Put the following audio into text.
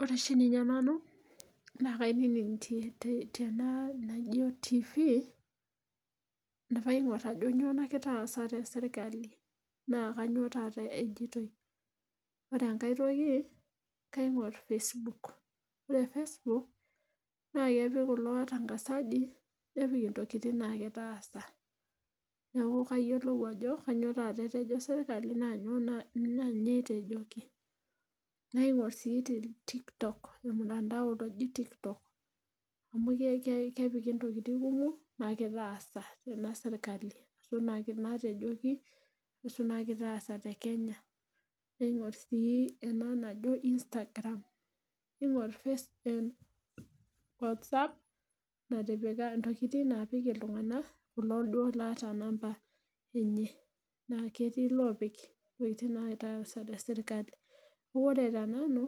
Ore oshi ninye nanu naa kainining' tena naijo tifii, ajo kainyioo nagira aasa te sirkali. naa kainyioo taata ejitoi. ore enkae toki, kaing'or Facebook ore Facebook naa kepik kulo watangazaji nepik intokitin naagirae aasa. neeku kaayiolou ajo Kainyioo taata etejo sirkali naa inyoo etejoki. naingor sii te TikTok ormutandao loji TikTok .amu kepiki ntokitin kumok naagirae aasa te sirkali. duo naatejoki. kuusu naagirae aasa te kenya. naingor sii ena najo Instagram iing'or Whatsapp natipika intokitin naapik iltunganak kulo duoo laata namba enye. naa ketii iloopik intokitin naagirae aasa te sirkali. ore te nanu